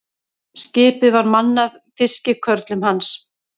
Skipið var mannað fiskikörlum hans.